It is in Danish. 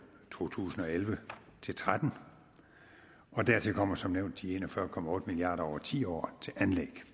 to tusind og elleve til tretten og dertil kommer som nævnt de en og fyrre milliard kroner over ti år til anlæg